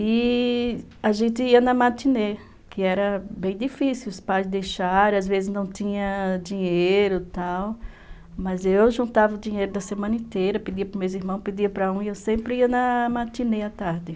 E a gente ia na matinê, que era bem difícil, os pais deixaram, às vezes não tinha dinheiro e tal, mas eu juntava o dinheiro da semana inteira, pedia para o meu irmão, pedia para um, e eu sempre ia na matinê à tarde.